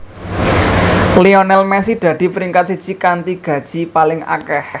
Lionel Messi dadi peringkat siji kanthi gaji paling akeh